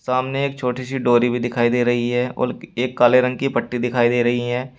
सामने एक छोटी सी डोरी भी दिखाई दे रही है और एक काले रंग की पट्टी दिखाई दे रही है।